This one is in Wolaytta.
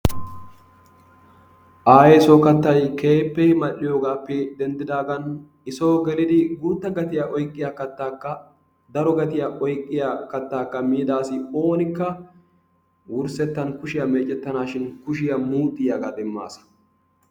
Ayesso kattay kehippe mal'iyogappe dendidagan isso gelliddi guta gattiyaa oykiyaada kattakka daro gattiyaa oykiya kattaka midda assi onnika wursettan kushiyaa meccetanashin kushiyaa muxxiyaga demasa.